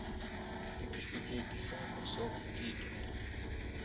isitifikedi sakho sobuphilo